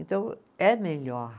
Então, é melhor.